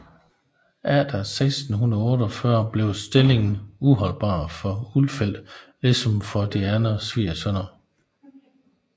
Efter 1648 blev stillingen uholdbar for Ulfeldt ligesom for de andre svigersønner